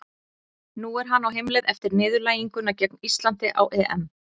Nú er hann á heimleið eftir niðurlæginguna gegn Íslandi á EM.